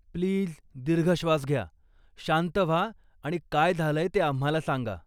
Please दीर्घ श्वास घ्या, शांत व्हा आणि काय झालंय ते आम्हाला सांगा.